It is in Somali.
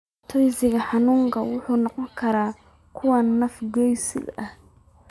Dhibaatooyinka xanuunkan waxay noqon karaan kuwo naf-gooyo ah.